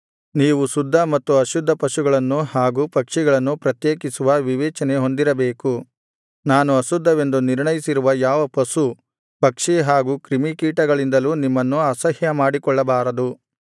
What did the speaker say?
ನೀವು ಶುದ್ಧ ಮತ್ತು ಅಶುದ್ಧ ಪಶುಗಳನ್ನು ಹಾಗು ಪಕ್ಷಿಗಳನ್ನು ಪ್ರತ್ಯೇಕಿಸುವ ವಿವೇಚನೆ ಹೊಂದಿರಬೇಕು ನಾನು ಅಶುದ್ಧವೆಂದು ನಿರ್ಣಯಿಸಿರುವ ಯಾವ ಪಶು ಪಕ್ಷಿ ಹಾಗು ಕ್ರಿಮಿಕೀಟಗಳಿಂದಲೂ ನಿಮ್ಮನ್ನು ಅಸಹ್ಯಮಾಡಿಕೊಳ್ಳಬಾರದು